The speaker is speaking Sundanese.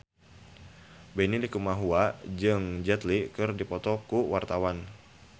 Benny Likumahua jeung Jet Li keur dipoto ku wartawan